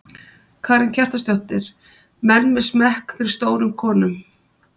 Karen Kjartansdóttir: Menn með smekk fyrir stórum konum?